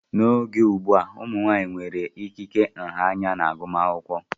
N'oge ugbu a, ụmụ nwanyị nwere ikike nha anya na agụmakwụkwọ.